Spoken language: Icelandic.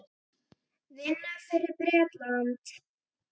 Vinna fyrir Bretann?